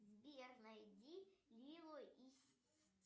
сбер найди лило и